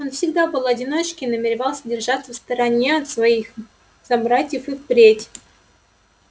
он всегда был одиночкой и намеревался держаться в стороне от своих собратьев и впредь